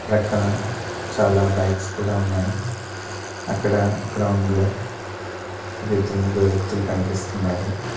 ప్రక్కన చాలా బైక్స్ కూడా ఉన్నాయి అక్కడ గ్రౌండ్లో ఒగిద్దరు ముగ్గురు వ్యక్తులు కనిపిస్తున్నారు.